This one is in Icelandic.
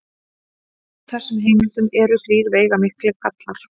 Á þessum heimildum eru þrír veigamiklir gallar.